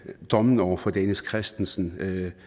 dommen over dennis christensen